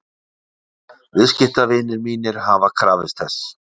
Viðskiptavinir mínir hafa krafist þess.